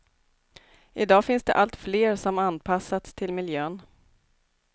I dag finns det allt fler som anpassats till miljön.